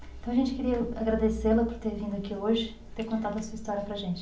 Então a gente queria agradecê-la por ter vindo aqui hoje e ter contado a sua história para a gente.